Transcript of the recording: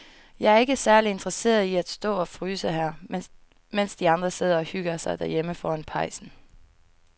Jeg er ikke særlig interesseret i at stå og fryse her, mens de andre sidder og hygger sig derhjemme foran pejsen.